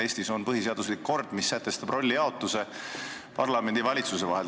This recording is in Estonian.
Eestis on põhiseaduslik kord, mis sätestab rollijaotuse parlamendi ja valitsuse vahel.